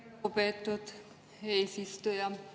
Aitäh, lugupeetud eesistuja!